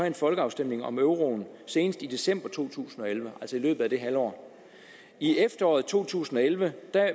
en folkeafstemning om euroen senest i december to tusind og elleve altså i løbet af det halve år i efteråret to tusind og elleve